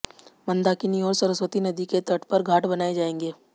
मंदाकिनी और सरस्वती नदी के तट पर घाट बनाए जाएंगे